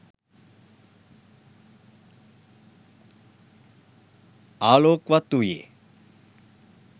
ආලෝක්වත් වූයේ